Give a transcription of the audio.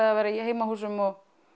að vera í heimahúsum og